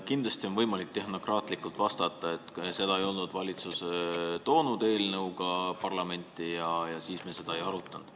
Kindlasti on võimalik tehnokraatlikult vastata, et seda ettepanekut valitsus eelnõu näol parlamenti ei toonud ja nii me seda ka ei arutanud.